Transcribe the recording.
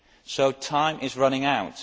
So time is running out.